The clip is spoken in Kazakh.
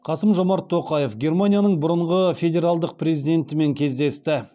қасым жомарт тоқаев германияның бұрынғы федералдық президентімен кездесті